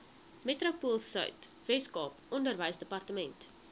metropoolsuid weskaap onderwysdepartement